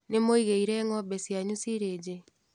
Nĩmũigĩire ngombe cianyu silĩji.